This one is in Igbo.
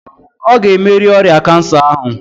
Ọ ga-emerị ọrịa kansa ahụ?